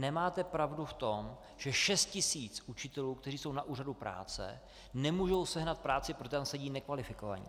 Nemáte pravdu v tom, že 6 tisíc učitelů, kteří jsou na úřadu práce, nemůžou sehnat práci, protože tam sedí nekvalifikovaní.